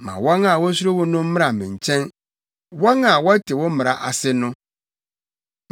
Ma wɔn a wosuro wo no mmra me nkyɛn, wɔn a wɔte wo mmara ase no.